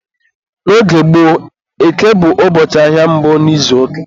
N'oge gboo, Eke bụ ụbọchị ahịa mbụ n'izuụka.